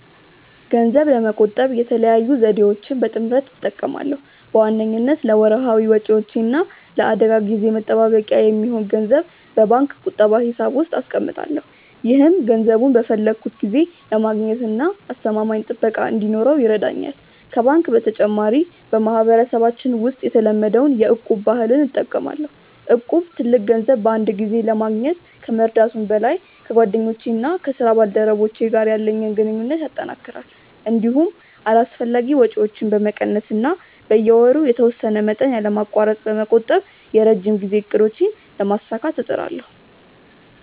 ገንዘብ ለመቆጠብ የተለያዩ ዘዴዎችን በጥምረት እጠቀማለሁ። በዋነኝነት ለወርሃዊ ወጪዎቼ እና ለአደጋ ጊዜ መጠባበቂያ የሚሆን ገንዘብ በባንክ ቁጠባ ሂሳብ ውስጥ አስቀምጣለሁ። ይህም ገንዘቡን በፈለግኩት ጊዜ ለማግኘትና አስተማማኝ ጥበቃ እንዲኖረው ይረዳኛል። ከባንክ በተጨማሪ፣ በማህበረሰባችን ውስጥ የተለመደውን የ'እቁብ' ባህል እጠቀማለሁ። እቁብ ትልቅ ገንዘብ በአንድ ጊዜ ለማግኘት ከመርዳቱም በላይ፣ ከጓደኞቼና ከስራ ባልደረቦቼ ጋር ያለኝን ግንኙነት ያጠናክራል። እንዲሁም አላስፈላጊ ወጪዎችን በመቀነስ እና በየወሩ የተወሰነ መጠን ያለማቋረጥ በመቆጠብ የረጅም ጊዜ እቅዶቼን ለማሳካት እጥራለሁ።